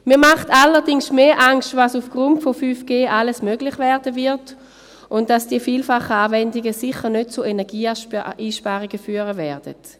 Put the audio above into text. Mir macht allerdings mehr Angst, was aufgrund von 5G alles möglich werden wird, und dass die vielfachen Anwendungen sicher nicht zu Energieeinsparungen führen werden.